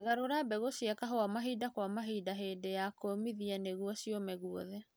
Garũra mbegũ cia kahũa mahinda kwa mahinda hĩndĩ ya kũmithia nĩguo ciũme guothe